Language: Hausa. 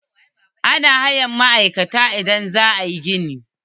Ana hayar ma'aikata idan za a yi gini.